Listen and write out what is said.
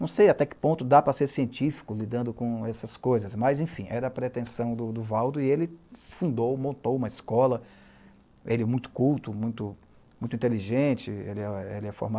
Não sei até que ponto dá para ser científico lidando com essas coisas, mas enfim, era a pretensão do Valdo e ele fundou, montou uma escola, ele muito culto, muito inteligente, ele é era formado